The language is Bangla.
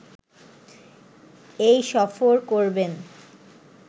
এই সফর করবেন